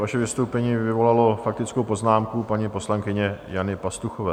Vaše vystoupení vyvolalo faktickou poznámku paní poslankyně Jany Pastuchové.